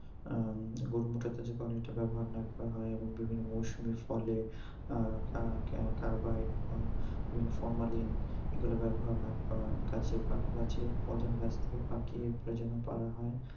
আহ গরুর মধ্যে ব্যবহার না করা হয় এবং বিভিন্ন মৌসুমী ফলে আহ কা~কা~কার্বাইড বা বিভিন্ন ফরমালিন এগুলা ব্যবহার না করা গাছে পা গাছে ফল যেন গাছ থেকে পাকিয়ে তারপরে যেন পারা হয়